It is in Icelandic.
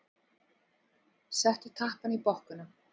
Settu tappann í bokkuna.